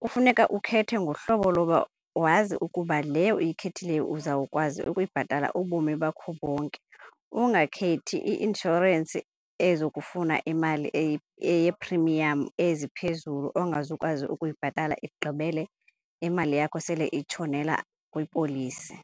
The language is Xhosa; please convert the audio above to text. Kufuneka ukhethe ngohlobo loba wazi ukuba le uyikhethileyo uzawukwazi ukuyibhatala ubomi bakho bonke, ungakhethi i-inshorensi ezokufuna imali eyeeprimiyam eziphezulu ongazukwazi ukuyibhatala igqibele imali yakho sele itshonela kwipolisi.